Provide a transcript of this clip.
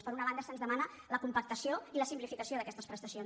per una banda se’ns demana la compactació i la simplificació d’aquestes prestacions